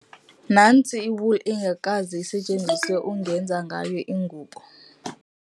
Nantsi iwulu engekaze isetyenziswe ungenza ngayo ingubo.